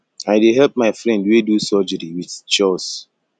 i dey help my friend wey do surgery wit chores